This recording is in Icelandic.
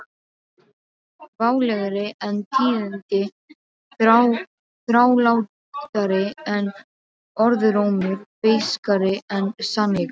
Válegri en tíðindi þrálátari en orðrómur beiskari en sannleikur